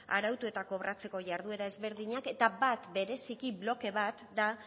arautu eta kobratzeko jarduera ezberdinak eta bat bereziki bloke bat da